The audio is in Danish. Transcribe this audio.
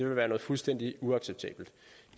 være noget fuldstændig uacceptabelt